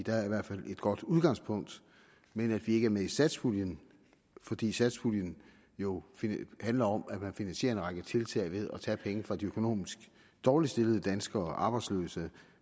er i hvert fald et godt udgangspunkt men at vi ikke er med i satspuljen fordi satspuljen jo handler om at man finansierer en række tiltag ved at tage penge fra de økonomisk dårligst stillede danskere de arbejdsløse